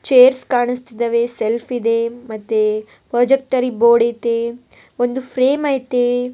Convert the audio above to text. Chairs ಕಾಣಿಸ್ತಿದಾವೆ shelf ಇದೆ ಮತ್ತೆ ಪ್ರೊಜೊಕ್ಟರಿ ಬೋರ್ಡ್ ಐತೆ ಒಂದು ಫ್ರೇಮ್ ಐತೆ.